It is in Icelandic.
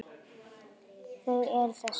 Þau eru þessi